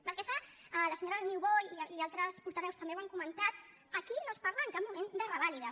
pel que fa a la senyora niubó i altres portaveus també ho han comentat aquí no es parla en cap moment de revàlides